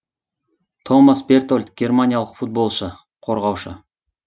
томас бертольд германиялық футболшы қорғаушы